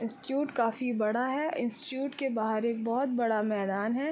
Institute काफी बड़ा है। इंस्टिट्यूट के बाहर एक बहोत बड़ा मैदान है।